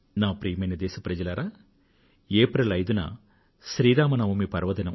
ప్రియమైన నా దేశ వాసులారా ఏప్రిల్ 5వ తేదీన శ్రీరామ నవమి పర్వదినం